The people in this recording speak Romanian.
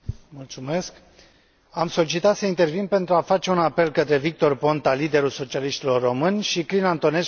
Am solicitat să intervin pentru a face un apel către Victor Ponta, liderul socialiștilor români și Crin Antonescu, președintele PNL.